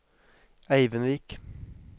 Eivindvik